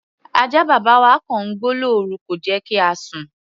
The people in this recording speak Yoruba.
Ajá bàbá wa kọ̀ ń gbó lórú, kò jẹ́ kí a sùn.